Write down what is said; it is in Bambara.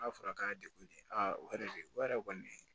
N'a fɔra k'a degunnen o yɛrɛ de o yɛrɛ kɔni